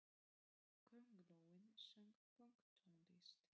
Köngulóin söng pönktónlist!